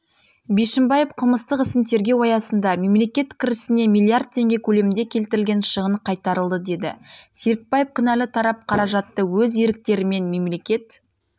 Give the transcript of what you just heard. бишімбаев қылмыстық ісін тергеу аясында мемлекет кірісіне миллиард теңге көлемінде келтірілген шығын қайтарылды деді серікбаев кінәлі тарап қаражатты өз еріктерімен мемлекет